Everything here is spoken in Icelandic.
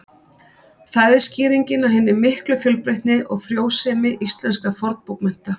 Það er skýringin á hinni miklu fjölbreytni og frjósemi íslenskra fornbókmennta.